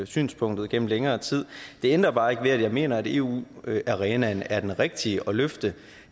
synspunktet igennem længere tid det ændrer bare ikke ved at jeg mener at eu arenaen er den rigtige at løfte